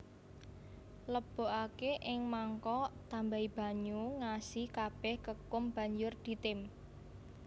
Lebokake ing mangkok tambahi banyu ngasi kabeh kekum banjur ditim